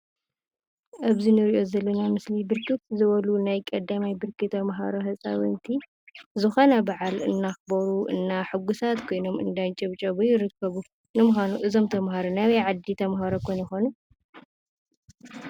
ኣብዚ ንሪኦ ዘለና ምስሊ ብርክት ዝበሉ ናይ ቀዳማይ ብርኪ ተምሃሮ ህፃውንቲ ዝኾነ በዓል እንዳኽበሩ እና ሕጒሳት ኮይኖም እንዳንጨብጨቡ ይርከቡ፡፡ ንምዃኑ እዞም ተምሃሮ ናይ ኣበይ ዓዲ ተምሃሮ ኾን ይኾኑ?